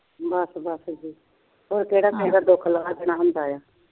ਬਸ ਬਸ ਹੋਰ ਕਿਹੜਾ ਕਿਸੇ ਦਾ ਦੁਖ ਲਾਗ ਜਾਂਦੇ ਏ